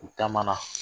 U taamana